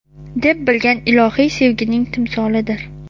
deb bilgan ilohiy sevgining timsolidir.